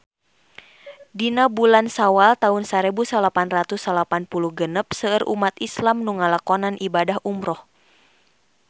Dina bulan Sawal taun sarebu salapan ratus salapan puluh genep seueur umat islam nu ngalakonan ibadah umrah